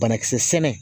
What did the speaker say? Banakisɛ sɛnɛ